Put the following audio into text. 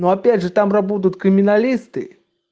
но опять же там работают криминалисты